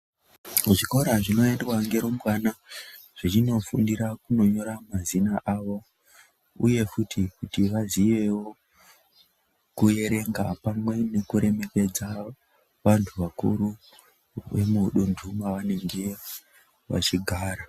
Muzvikora zvinoendwa ngerumbwana, zvinofundira kunonyora mazina avo uye futi kuti vaziyewo kuerenga pamwe nekuremekedza vantu vakuru vemudunhu mavanenge vechigara.